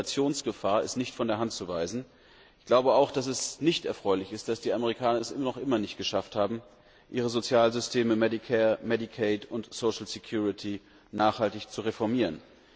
Die Inflationsgefahr ist nicht von der Hand zu weisen. Ich glaube auch, dass es nicht erfreulich ist, dass die Amerikaner es immer noch nicht geschafft haben, ihre Sozialsysteme Medicare, Medicaid und Social Security nachhaltig zu reformieren.